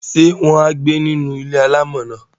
Ṣé wọn á gbé inú ilé-alámọ̀ náà?